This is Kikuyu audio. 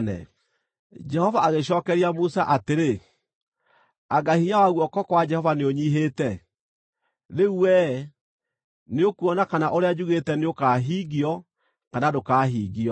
Jehova agĩcookeria Musa atĩrĩ, “Anga hinya wa guoko kwa Jehova nĩũnyiihĩte? Rĩu wee, nĩũkuona kana ũrĩa njugĩte nĩũkahingio kana ndũkahingio.”